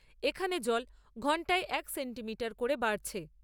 এখানে জল ঘন্টায় এক সেন্টিমিটার করে বাড়ছে।